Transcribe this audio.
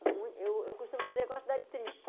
Mu eu eu costumo dizer que é uma cidade triste.